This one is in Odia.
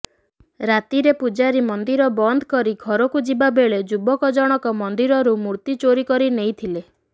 ରାତିରେ ପୂଜାରୀ ମନ୍ଦିର ବନ୍ଦ କରି ଘରକୁ ଯିବା ବେଳେ ଯୁବକ ଜଣକ ମନ୍ଦିରରୁ ମୂର୍ତ୍ତି ଚୋରି କରିନେଇଥିଲେ